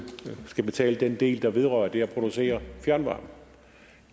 skal betale til den del der vedrører det at producere fjernvarme